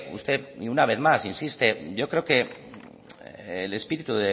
usted una vez más insiste yo creo que el espíritu